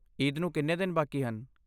ਈਦ ਨੂੰ ਕਿੰਨੇ ਦਿਨ ਬਾਕੀ ਹਨ?